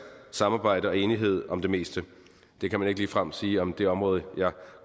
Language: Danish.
samarbejde og enighed om det meste det kan man ikke ligefrem sige om det område jeg